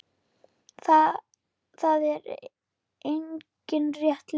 Það er engin rétt leið.